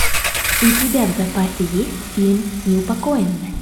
у тебя в запасе есть фильм неупокоенная